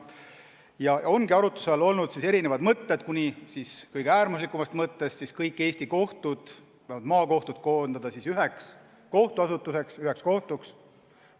Ja ongi arutluse all olnud erinevad mõtted, kuni kõige äärmuslikuma lahenduseni välja, et kõik Eesti kohtud, vähemalt maakohtud koondada formaalselt üheks kohtuasutuseks, üheks kohtuks.